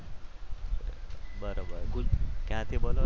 બરોબર ક્યાંથી બોલો છો